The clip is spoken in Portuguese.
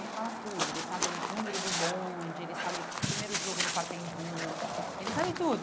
Ele fala tudo, ele sabe o número do bonde, ele sabe o primeiro jogo no Pacaembu, ele sabe tudo.